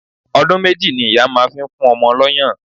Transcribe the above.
Ọdún méjì ni ìyá máa fi ń fún ọmọ lọ́yàn